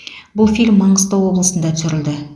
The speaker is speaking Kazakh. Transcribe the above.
бұл фильм маңғыстау облысында түсірілді